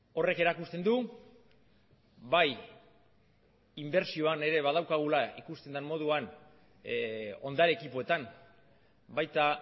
horrek erakusten du bai inbertsioan ere badaukagula ikusten den moduan ondare ekipoetan baita